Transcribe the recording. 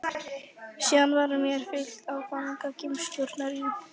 Síðan var mér fylgt í fangageymslurnar í